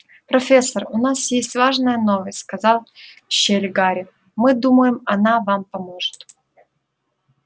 профессор у нас есть важная новость сказал в щель гарри мы думаем она вам поможет